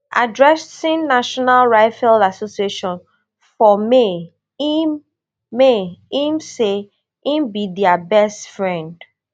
addressing national rifle association for may im may im say im be dia best friend